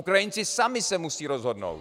Ukrajinci sami se musí rozhodnout.